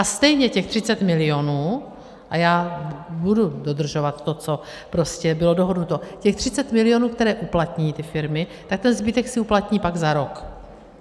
A stejně těch 30 milionů, a já budu dodržovat to, co prostě bylo dohodnuto, těch 30 milionů, které uplatní ty firmy, tak ten zbytek si uplatní pak za rok.